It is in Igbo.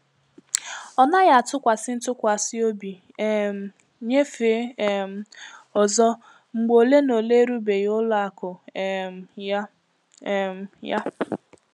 Ọ naghị atụkwasị ntụkwasị obi um nyefe um ọzọ mgbe ole na ole erubeghị ụlọ akụ um ya. um ya.